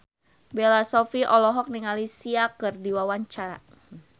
Bella Shofie olohok ningali Sia keur diwawancara